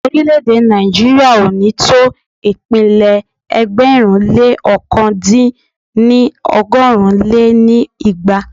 Orílẹ̀-èdè Nàìjíríà ò ní tó ìpínlẹ̀ ẹgbẹ̀rún lé ọ̀kan dín ní ọgọ́rùn lé ní igba